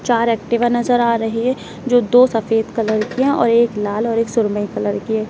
चार एक्टिवा नजर आ रही है जो दो सफेद कलर की हैं और एक लाल और एक सुरमई कलर की है।